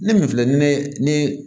Ne min filɛ ni ye ni